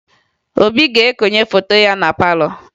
Obi ga-ekonye foto ya na palọ